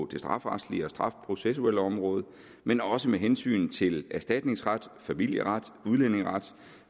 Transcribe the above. det strafferetlige og strafprocessuelle område men også med hensyn til erstatningsret familieret udlændingeret